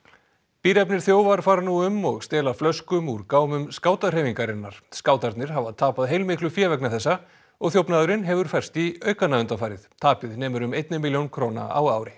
bíræfnir þjófar fara nú um og stela flöskum úr gámum skátahreyfingarinnar skátarnir hafa tapað heilmiklu fé vegna þessa og þjófnaðurinn hefur færst í aukana undanfarið tapið nemur um einni milljón króna á ári